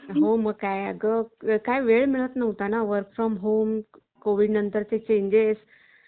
म्हणजेच देशाच्या कानाकोपऱ्यातल्या गोष्टी आपल्याला न त्या ती ठिकाणी न जाता घरात बसून आपल्याला त्या गोष्टी कळू शकतात म्हणजेच news हा देखील खूप महत्वाचा ज्ञानामध्ये भर होण्यासाठी